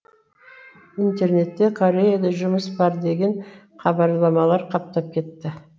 интернетте кореяда жұмыс бар деген хабарламалар қаптап кетті